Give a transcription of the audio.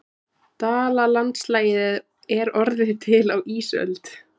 Dalalandslagið er orðið til á ísöld.